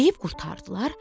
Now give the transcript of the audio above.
Yeyib qurtardılar.